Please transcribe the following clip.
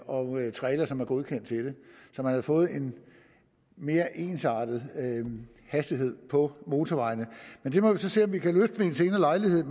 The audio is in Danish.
og trailere som er godkendt til det så man havde fået en mere ensartet hastighed på motorvejene men det må vi så se om vi kan løfte ved en senere lejlighed